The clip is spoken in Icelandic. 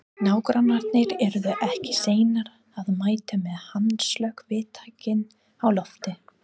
Nágrannarnir yrðu ekki seinir að mæta með handslökkvitækin á lofti.